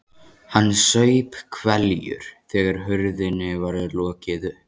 Hann saup hveljur þegar hurðinni var lokið upp.